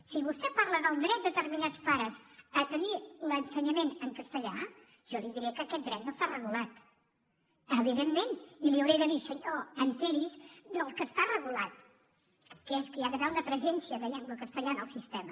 si vostè parla del dret de determinats pares a tenir l’ensenyament en castellà jo li diré que aquest dret no està regulat evidentment i li hauré de dir senyor assabenti’s del que està regulat que és que hi ha d’haver una presència de llengua castellana al sistema